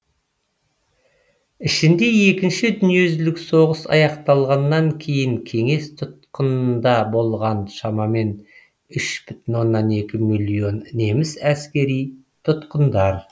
ішінде екінші дүниежүзілік соғыс аяқталғаннан кейін кеңес тұтқынында болғаны шамамен үш бүтін оннан екі миллион неміс әскери тұтқындар